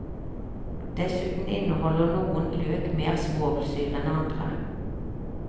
Dessuten inneholder noen løk mer svovelsyre enn andre.